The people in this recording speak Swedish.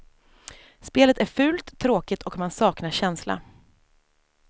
Spelet är fult, tråkigt och man saknar känsla.